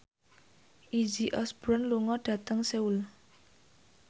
Izzy Osborne lunga dhateng Seoul